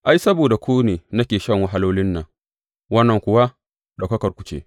Ai, saboda ku ne nake shan wahalolin nan, wannan kuwa ɗaukakarku ce.